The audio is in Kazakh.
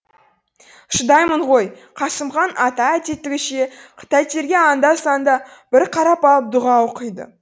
шыдаймын ғой қасымхан ата әдеттегіше тайтеріге анда санда бір қарап алып дұға оқиды